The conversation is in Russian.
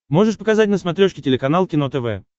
можешь показать на смотрешке телеканал кино тв